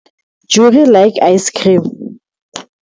Jurie like icecream.